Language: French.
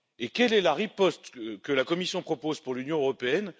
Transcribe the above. Quelle est la riposte que la Commission propose pour l'Union européenne?